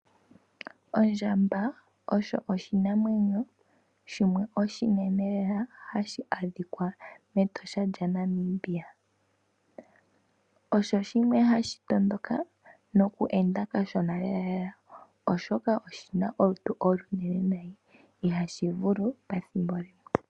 Ondjamba osho oshinamwenyo shimwe oshinene lela hashi adhika mEtosha lya Namibia. Osho shimwe hashi tondoka noku enda kashona lela lela oshoka oshina olutu olunene nayi ihashi ivulu pethimbo limwe.